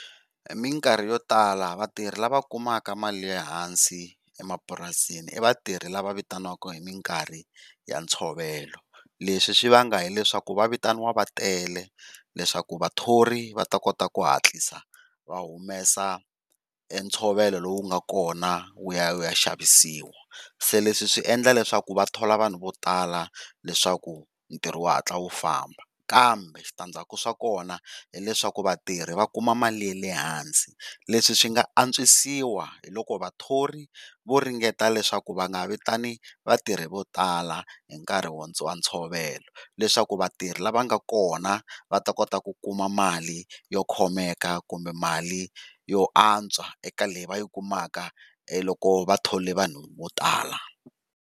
Minkarhi yo tala vatirhi lava kumaka mali ya lehansi emapurasini i vatirhi lava vitaniwaka hi minkarhi ya ntshovelo leswi swi vanga hileswaku va vitaniwa va tele leswaku vathori va ta kota ku hatlisa va humesa ntshovelo lowu nga kona wu ya u ya xavisiwa. Se leswi swi endla leswaku vathola vanhu vo tala leswaku ntirho u hatla u famba, kambe switandzaku swa kona hileswaku vatirhi va kuma mali ya le hansi leswi swi nga antswisiwa hi loko vathori vo ringeta leswaku va nga vitani vatirhi vo tala hinkarhi wa ntshovelo. Leswaku vatirhi lava va nga kona va ta kota ku kuma mali yo khomeka kumbe mali yo antswa eka leyi va yi kumaka e loko vathole vanhu vo tala.